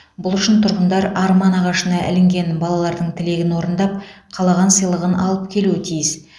бұл үшін тұрғындар арман ағашына ілінген балалардын тілегін орындап қалаған сыйлығын алып келуі тиіс